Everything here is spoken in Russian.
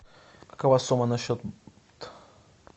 какова сумма на счет